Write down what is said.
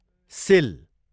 सिल